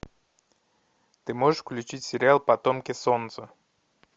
ты можешь включить сериал потомки солнца